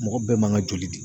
Mɔgɔ bɛɛ man kan ka joli di.